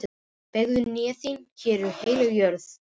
Beygðu hné þín, hér er heilög jörð.